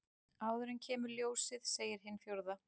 Áður en kemur ljósið segir hin fjórða.